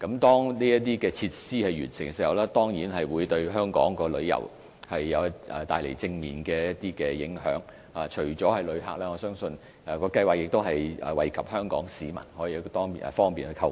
當購物城落成後，當然會對香港的旅遊業帶來正面影響，除旅客外，相信亦可惠及香港市民，方便他們購物。